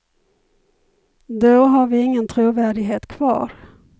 Då har vi ingen trovärdighet kvar.